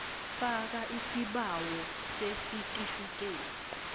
faka isibawo sesitifikethi